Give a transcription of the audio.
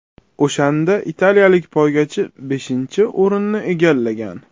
O‘shanda italiyalik poygachi beshinchi o‘rinni egallagan.